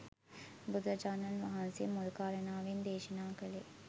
බුදුරජාණන් වහන්සේ මුල් කාරණාවෙන් දේශනා කළේ